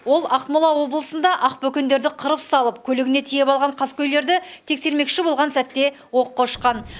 ол ақмола облысында ақбөкендерді қырып салып көлігіне тиеп алған қаскөйлерді тексермекші болған сәтте оққа ұшқан